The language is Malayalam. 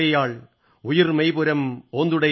ഉയിർ മെയ്പുരം ഒന്തുടൈയാൾ